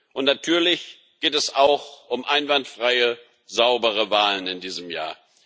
Und natürlich geht es auch um einwandfreie, saubere Wahlen in diesem Jahr.